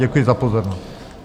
Děkuji za pozornost.